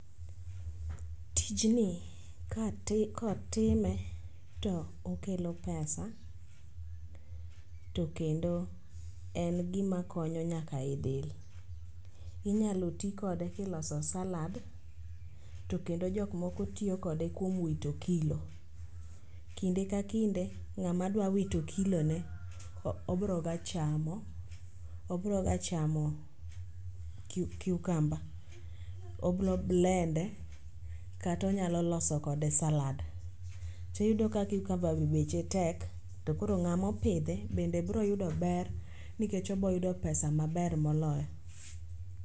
Tijni kotime to okelo pesa, to kendo en gima konyo nyaka e del. Inyalo ti kode kiloso salad to kendo jokmoko tiyo kode kuom wito kilo. Kinde ka kinde ng'ama dwa wito kilone obroga chamo cucumber obro blend e kata onyalo loso kode salad. Tiyudo ka cucumber be beche tek to koro ng'amopidhe bende bro yudo ber nikech obroyudo pesa maber moloyo.